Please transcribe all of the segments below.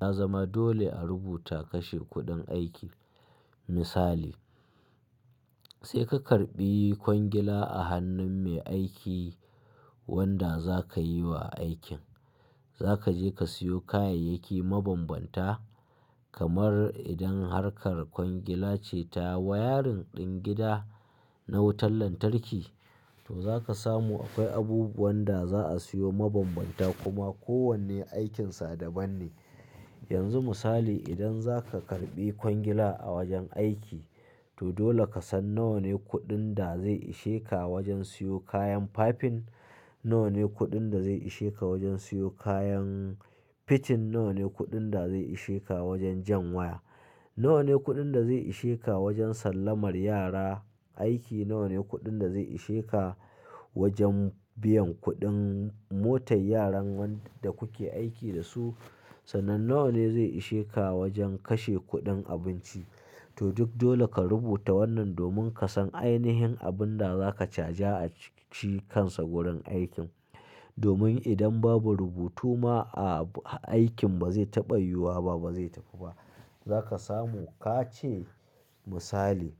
Ya zama dole a rubuta kashe kuɗin aiki. Misali, sai ka karɓi kwangila a hannun mai aiki wanda za ka yi wa aikin. Za ka je ka siyo kayayyaki mabanbanta, kamar idan harkar kwangila ce ta wayarin ɗin gida na wutan lantarki, to za ka samu akwai abu buwanda za a siyo mabanbanta kuma kowane aikinsa daban ne. Yanzu misali idan za ka karɓi kwangila a wajen aiki, to dole ka san nawa ne kuɗin da zai ishe ka wajen siyo kayan fafin, nawa ne kuɗin da zai ishe ka wajen siyo kayan fitin, nawa ne kuɗin da zai ishe ka wajen jan waya, nawa ne kuɗin da zai ishe ka wajen sallamar yara aiki, nawa ne kuɗin da zai ishe ka wajen biyan kuɗin motar yaran wanda kuke aiki da su, sannan nawa ne zai ishe ka wajen kashe kuɗin abinci. To duk dole ka rubuta wannan domin ka san ainihin abin da za ka caja a cikin shi kansa wurin aikin. Domin idan babu rubutu ma aikin ba zai taɓa yiwuwa ba, ba zai tafi ba. Za ka samu ka ce misali,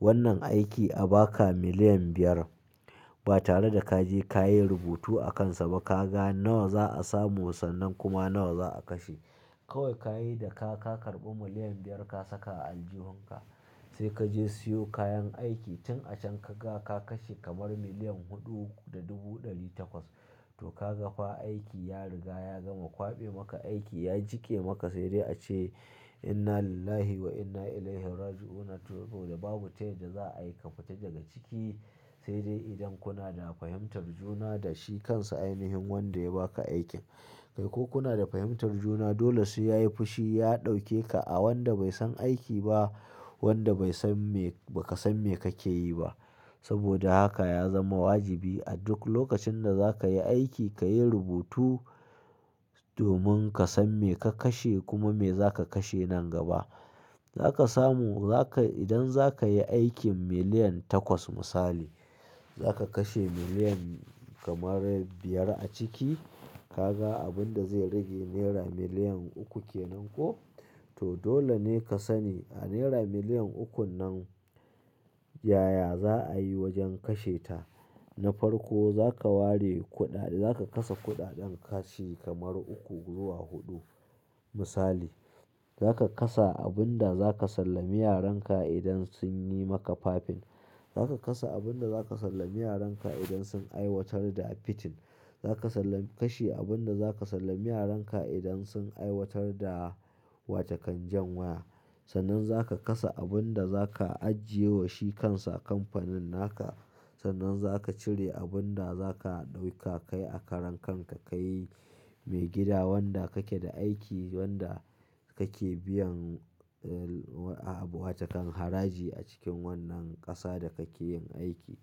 wannan aiki a ba ka miliyan biyar ba tare da ka je ka yi rubutu a kansa ba. Ka ga nawa za a samu sannan kuma nawa za a kashe. Kawai ka yi da ka ka karɓi miliyan biyar ka saka a aljihunka. Sai ka je siyo kayan aiki, tun a can ka ga ka kashe kamar miliyan huɗu da dubu ɗari takwas. To ka ga fa aiki ya riga ya gama. Kwaɓe maka aiki ya jike maka sai dai a ce "Inna lillahi wa inna ilaihi raji'un". To to da babu tayadda za ayi ka fita daga ciki, sai dai idan kuna da fahimtar juna da shi kansa ainihin wanda ya ba ka aikin. Kai ko kuna da fahimtar juna, dole sai yayi fushi, ya ɗauke ka a wanda bai san aiki ba, wanda bai san me-- ba ka san me kake yi ba. Saboda haka ya zama wajibi a duk lokacin da za ka yi aiki ka yi rubutu domin ka san me ka kashe kuma me za ka kashe nan gaba. Za ka samu, za ka-- idan za ka yi aikin miliyan takwas misali, za ka kashe miliyan kamar biyar a ciki. Ka ga abun da zai rage naira miliyan uku kenan ko? To dole ne ka sani a naira miliyan ukun nan, yaya za a yi wajen kashe ta. Na farko za ka ware kuɗaɗe, za ka kasa kuɗaɗen kashi kamar uku zuwa huɗu misali. Za ka kasa abin da za ka sallami yaran ka idan sun yi maka fafin. Za ka kasa abin da za ka sallami yaran ka idan sun aiwatar da fitin. Za ka sallami kashi abin da za ka sallami yaran ka idan sun aiwatar da wata kan jan waya. Sannan za ka kasa abin da za ka ajiye wa shi kansa kamfanin naka. Sannan za ka cire abin da za ka ɗauka kai a karan kan ka ka yi mai gida wanda kake da aiki, wanda kake biyan, eh, abu wata kan haraji a cikin wannan ƙasa da kake yin aiki.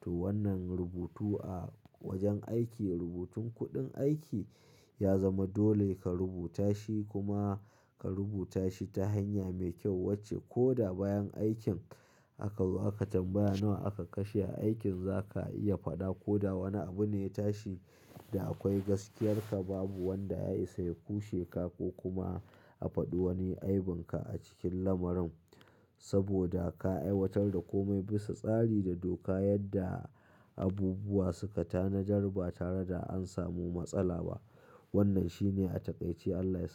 To wannan rubutu a wajen aiki, rubutun kuɗin aiki ya zama dole ka rubuta shi kuma ka rubuta shi ta hanya mai kyau wacce ko da bayan aikin aka, aka tambaya nawa aka kashe a aikin za ka iya faɗa ko da wane abu ne ya tashi da akwai gaskiyarka, babu wanda ya isa ya kushe ka ko kuma a faɗi wani aibinka a cikin lamarin. Saboda ka aiwatar da kome bisa tsari da doka yadda abubuwa suka tanadar ba tare da an samu matsala ba. Wannan shine a takaice Allah ya sa mu.